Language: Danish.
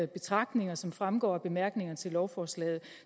betragtninger som fremgår af bemærkningerne til lovforslaget